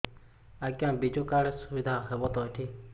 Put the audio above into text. ଆଜ୍ଞା ବିଜୁ କାର୍ଡ ସୁବିଧା ହବ ତ ଏଠି